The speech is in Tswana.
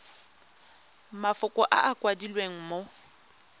mafoko a a kwadilweng mo